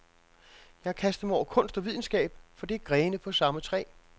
Jeg har kastet mig over kunst og videnskab, for det er grene på samme træ.